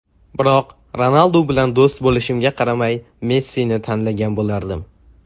Biroq Ronaldu bilan do‘st bo‘lishimga qaramay Messini tanlagan bo‘lardim.